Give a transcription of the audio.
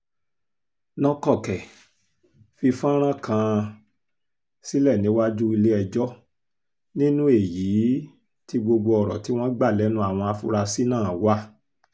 nọ́kọ̀kẹ́ fi fọ́nrán kan um sílẹ̀ níwájú ilé-ẹjọ́ nínú èyí um tí gbogbo ọ̀rọ̀ tí wọ́n gbà lẹ́nu àwọn afurasí náà wà